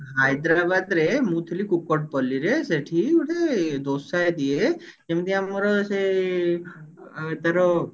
ହାଇଦ୍ରାବାଦ ରେ ମୁଁ ଥିଲି କୁପଦପଲ୍ଲୀ ରେ ସେଠି ଗୋଟେ ଦୋସା ଦିଏ ଯେମତି ଆମର ସେ ଏ ତାର